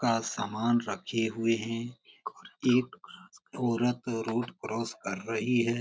का समान रखे हुए हैं एक औरत रोड क्रॉस कर रही है।